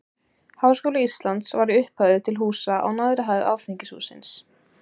Háskóli Íslands var í upphafi til húsa á neðri hæð Alþingishússins.